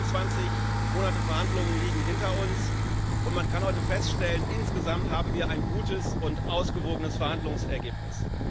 21 Monate Verhandlungen liegen hinter uns, und man kann heute feststellen Insgesamt haben wir ein gutes und ausgewogenes Verhandlungsergebnis.